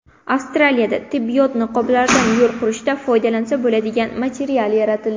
Avstraliyada tibbiyot niqoblaridan yo‘l qurishda foydalansa bo‘ladigan material yaratildi.